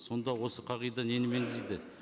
сонда осы қағида нені меңзейді